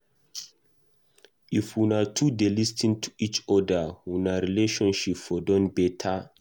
If una two dey lis ten to each oda, una relationship for don beta.